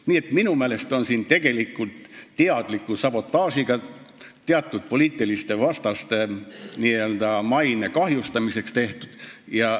Nii et minu meelest on siin tegu teadliku sabotaažiga, teatud poliitiliste vastaste maine kahjustamisega.